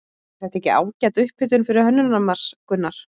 Er þetta ekki ágæt upphitun fyrir Hönnunarmars, Gunnar?